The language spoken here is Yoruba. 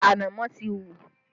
Ṣé ànámọ́ ti hù?